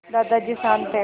दादाजी शान्त थे